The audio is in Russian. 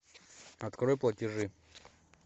открой платежи